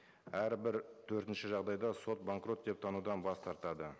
әрбір төртінші жағдайда сот банкрот деп танудан бас тартады